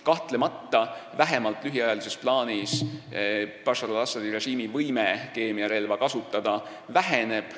Kahtlemata lühiajalises plaanis Bashar al-Assadi režiimi võime keemiarelva kasutada väheneb.